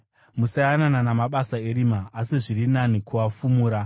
Musayanana namabasa erima, asi zviri nani kuafumura.